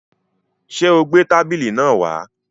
Sé o gbé tábìlì náà wá?